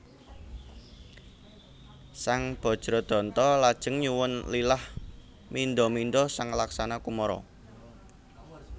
Sang Bajradanta lajeng nyuwun lilah mindha mindha sang Laksana Kumara